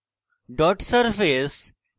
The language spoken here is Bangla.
dot surface